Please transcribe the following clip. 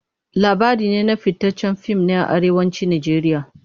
Labari na fitaccen fim ne a Arewacin Najeriya.